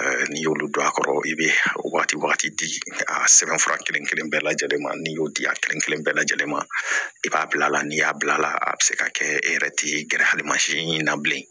N'i y'olu don a kɔrɔ i bɛ waati wagati di a sɛbɛn fura kelen kelen bɛɛ lajɛlen ma n'i y'o di a kelen kelen bɛɛ lajɛlen ma i b'a bila n'i y'a bila a la a bɛ se ka kɛ e yɛrɛ tɛ gɛrɛ hali masi na bilen